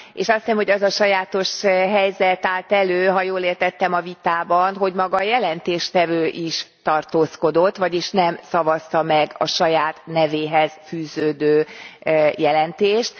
És azt hiszem, hogy az a sajátos helyzet állt elő ha jól értettem a vitában hogy maga a jelentéstevő is tartózkodott, vagyis nem szavazta meg a saját nevéhez fűződő jelentést.